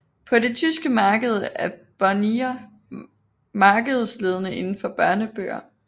På det tyske marked er Bonnier markedsledende indenfor børnebøger